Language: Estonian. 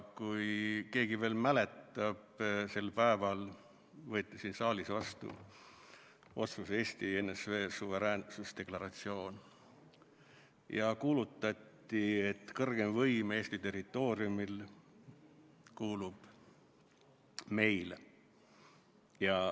Kui keegi veel mäletab, võeti sel päeval siin saalis vastu Eesti NSV suveräänsusdeklaratsioon ja kuulutati, et kõrgeim võim Eesti territooriumil kuulub meile.